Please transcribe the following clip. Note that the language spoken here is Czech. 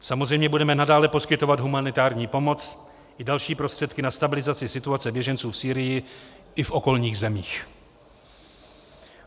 Samozřejmě budeme nadále poskytovat humanitární pomoc i další prostředky na stabilizaci situace běženců v Sýrii i v okolních zemích.